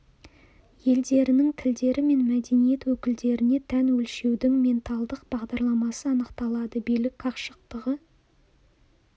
елдерінің тілдері мен мәдениет өкілдеріне тән өлшеудің менталдық бағдарламасы анықталады билік қашықтығы